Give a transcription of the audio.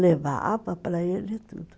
Levava para ele tudo.